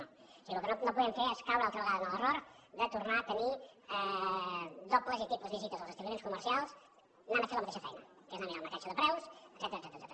o sigui el que no podem fer és caure una altra vegada en l’error de tornar a tenir dobles i triples visites als establiments comercials anant a fer la mateixa feina que és anar a mirar el marcatge de preus etcètera